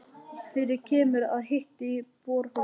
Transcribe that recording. Fyrir kemur og að hiti í borholum á